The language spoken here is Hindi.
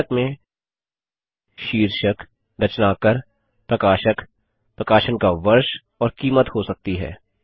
पुस्तक में शीर्षक रचनाकार प्रकाशक प्रकाशन का वर्ष और कीमत हो सकती है